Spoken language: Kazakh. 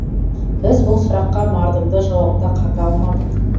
біз бұл сұраққа мардымды жауап та қата алмадық